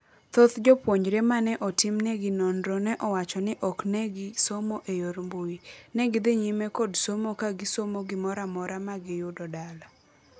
Thoth jopuonjre mane otimnegi nonro ne owacho ni oknegi somo e yor mbui. Negidhi nyime kod somo ka gisomo gimoramora ma giyudo dala.